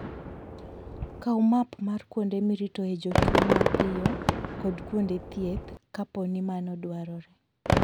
Kaw map mar kuonde miritoe jotuwo mapiyo kod kuonde thieth, kapo ni mano dwarore.